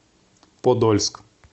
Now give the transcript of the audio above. подольск